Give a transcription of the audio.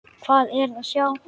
Hvað er að sjá